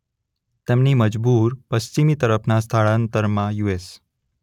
તેમની મજબૂર પશ્ચિમી તરફના સ્થળાંતરમાં યુ.એસ.